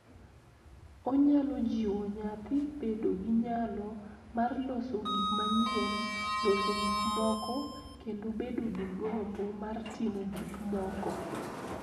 Onyalo jiwo nyathi bedo gi nyalo mar loso gik manyien, loso gik moko, kendo bedo gi gombo mar timo gik moko.